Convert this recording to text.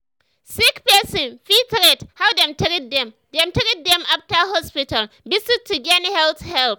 sick person fit rate how dem treat dem dem treat dem after hospital visit to gain health help.